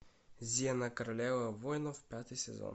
зена королева воинов пятый сезон